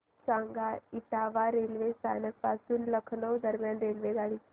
सांगा इटावा रेल्वे स्थानक पासून लखनौ दरम्यान रेल्वेगाडी